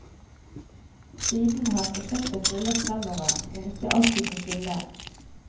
Siden har prosjektet rullet fremover, men ikke alltid på skinner.